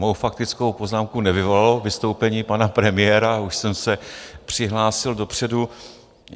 Mou faktickou poznámku nevyvolalo vystoupení pana premiéra, už jsem se přihlásil dopředu.